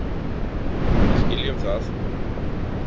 Við skiljum það.